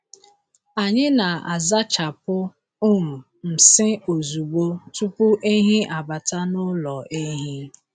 Anyị na-azachapụ um nsị ozugbo tupu ehi abata n’ụlọ ehi.